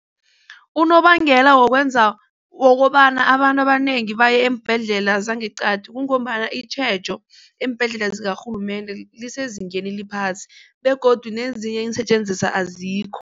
Unobangela wokwenza wokobana abantu abanengi baye eembhedlela zangeqadi kungombana itjhejo eembhedlela zakarhulumende lisezingeni eliphasi begodu nezinye iinsetjenziswa azikho.